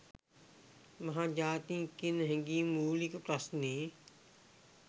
මහ ජාතිය කියන හැඟීමයි මූලික ප්‍රශ්නෙ.